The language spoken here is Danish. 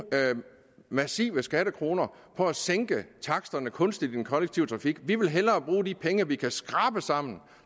massive skattekroner på at sænke taksterne kunstigt i den kollektive trafik vi vil hellere bruge de penge vi kan skrabe sammen